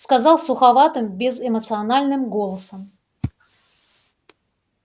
сказал суховатым безэмоциональным голосом